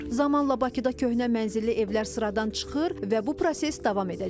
Zamanla Bakıda köhnə mənzilli evlər sıradan çıxır və bu proses davam edəcək.